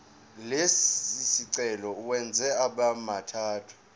lesicelo uwenze abemathathu